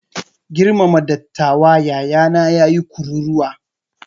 Girmama dattawa! yayana ya yi kururuwa.